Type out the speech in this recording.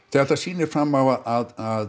þetta sýnir fram á að